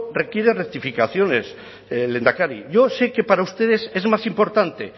requiere rectificaciones lehendakari yo sé que para ustedes es más importante